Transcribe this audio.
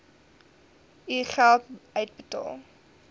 u geld uitbetaal